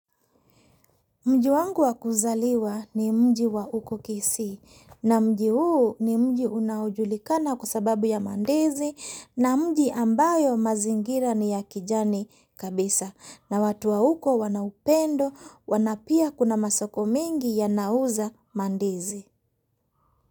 Mji wangu wa kuzaliwa ni mji wa huko kisii, na mji huu ni mji unaojulikana kwa sababu ya ndizi na mji ambayo mazingira ni ya kijani kabisa na watu wa huko wana upendo na pia kuna masoko mingi yanauza ndizi.